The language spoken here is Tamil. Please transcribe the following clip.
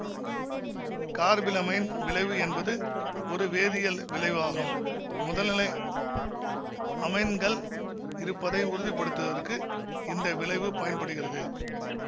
கார்பிலமைன் விளைவு என்பது ஒரு வேதியல் விளைவு ஆகும் முதல்நிலை அமைன்கள் இருப்பதை உறுதிப்படுத்துவதற்கு இந்த விளைவு பயன்படுகிறது